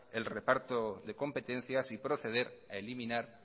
el reparto de competencias y proceder a eliminar